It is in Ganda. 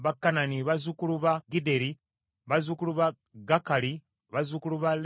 bazzukulu ba Gidderi, bazzukulu ba Gakali, bazzukulu ba Leyaya,